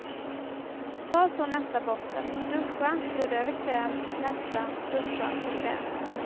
Tag så nästa botten, duscha, bred över kräm, nästa, duscha och kräm.